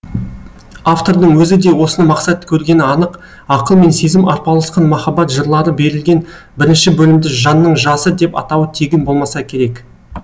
автордың өзі де осыны мақсат көргені анық ақыл мен сезім арпалысқан махаббат жырлары берілген бірінші бөлімді жанның жасы деп атауы тегін болмаса керек